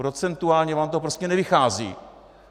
Procentuálně vám to prostě nevychází!